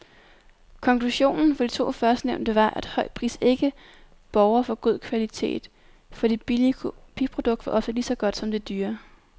Konklusionen for de to førstnævnte var, at høj pris ikke borger for god kvalitet, for det billige kopiprodukt var ofte ligeså godt som det dyre.